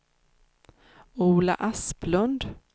Ola Asplund